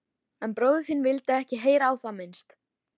En bróðir þinn vildi ekki heyra á það minnst.